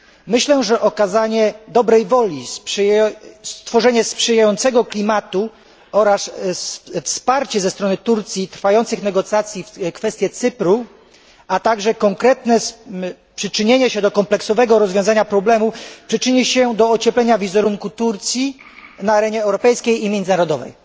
Myślę, że okazanie dobrej woli, stworzenie sprzyjającego klimatu oraz wsparcie ze strony Turcji dla trwających negocjacji w kwestiach Cypru, a także konkretne przyczynienie się do kompleksowego rozwiązania problemu wpłynie na ocieplenie wizerunku Turcji na arenie europejskiej i międzynarodowej.